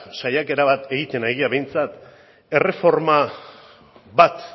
saiakera bat egiten ari gara behintzat erreforma bat